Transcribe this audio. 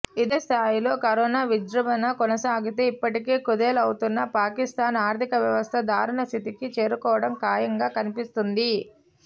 ఇదే స్థాయిలో కరోనా విజృంభణ కొనసాగితే ఇప్పటికే కుదేలవుతున్న పాకిస్తాన్ ఆర్థికవ్యవస్థ దారుణ స్థితికి చేరుకోవడం ఖాయంగా కనిపిస్తోంది